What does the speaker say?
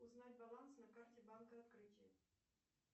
узнать баланс на карте банка открытие